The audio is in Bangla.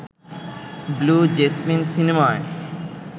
ব্লু জেসমিন সিনেমায়